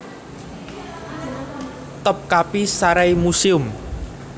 Topkapi Saray Museum